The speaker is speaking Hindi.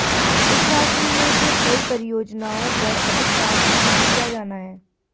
इस राशि में से कई परियोजनाओं पर अभी काम शुरू किया जाना है